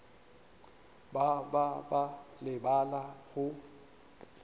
ba ba ba lebala go